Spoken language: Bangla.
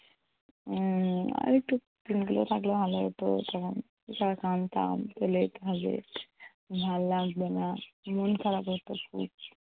উম আরেকটু থাকলে ভালো হতো। তখন বিশাল কাঁদতাম চলে যেতে হবে। ভাল্ লাগছে না। মন খারাপ হতো খুব।